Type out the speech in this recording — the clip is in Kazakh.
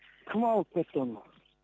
кім алып кетті оны